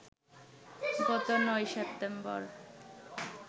গত ৯ সেপ্টেম্বর